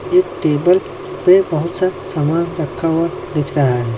एक टेबल पे बहुत सा सामान रखा हुआ दिख रहा है।